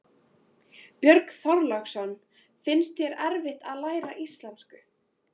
Björn Þorláksson: Finnst þér erfitt að læra íslensku?